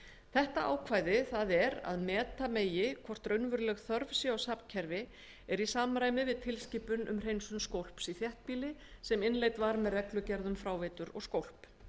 þetta ákvæði það er að meta megi hvort raunveruleg þörf sé á safnkerfi er í samræmi við tilskipun um hreinsun skólps í þéttbýli sem innleidd var með reglugerð um fráveitur og skólp